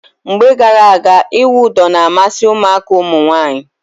Mgbe gara aga, ịwụ ụdọ na-amasị ụmụaka ụmụnwaanyị.